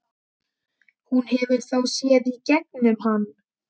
Hún hefur þá séð í gegnum hann.